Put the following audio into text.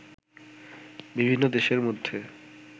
বিভিন্ন দেশের মধ্যে